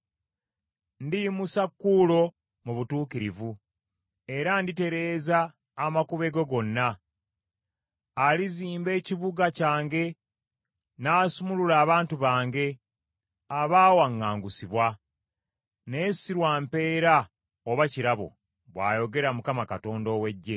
Ndiyimusa Kuulo mu butuukirivu era nditereeza amakubo ge gonna. Alizimba ekibuga kyange n’asumulula abantu bange abaawaŋŋangusibwa; naye si lwa mpeera oba ekirabo,” bw’ayogera Mukama Katonda ow’Eggye.